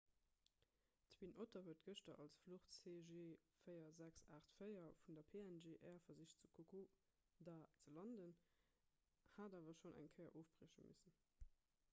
d'twin otter huet gëschter als fluch cg4684 vun der png air versicht zu kokoda ze landen hat awer schonn eng kéier ofbrieche missen